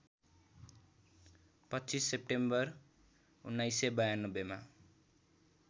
२५ September १९९२ मा